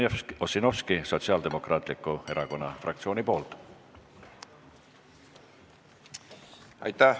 Jevgeni Ossinovski Sotsiaaldemokraatliku Erakonna fraktsiooni nimel.